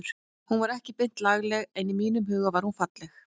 Hún var ekki beint lagleg en í mínum huga var hún falleg.